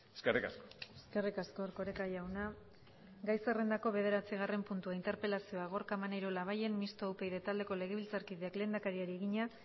eskerrik asko eskerrik asko erkoreka jauna gai zerrendako bederatzigarren puntua interpelazioa gorka maneiro labayen mistoa upyd taldeko legebiltzarkideak lehendakariari egina